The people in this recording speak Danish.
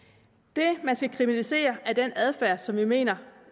det man skal kriminalisere er den adfærd som vi mener